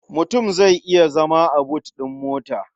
Mutum zai iya zama a but ɗin mota.